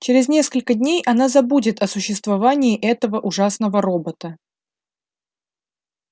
через несколько дней она забудет о существовании этого ужасного робота